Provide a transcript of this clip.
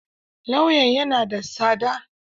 Lauyan ya na da tsada?